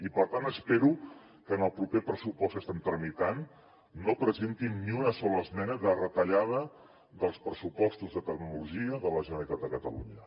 i per tant espero que en el proper pressupost que estem tramitant no presentin ni una sola esmena de retallada dels pressupostos de tecnologia de la generalitat de catalunya